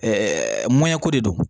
mɔnɲɛko de don